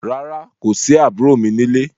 Rárá, kò sí àbúrò mi ní lé.